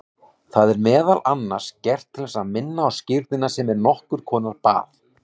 Það er meðal annars gert til að minna á skírnina sem er nokkur konar bað.